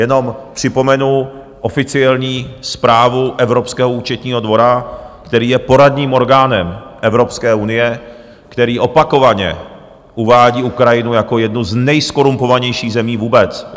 Jenom připomenu oficiální zprávu Evropského účetního dvora, který je poradním orgánem Evropské unie, který opakovaně uvádí Ukrajinu jako jednu z nejzkorumpovanějších zemí vůbec.